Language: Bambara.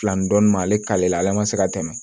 Fila ni dɔɔnin ma ale k'ale la ale ma se ka tɛmɛ